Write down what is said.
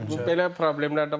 Yəni belə problemlər də var.